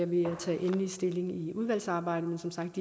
vil jeg tage endelig stilling i udvalgsarbejdet men som sagt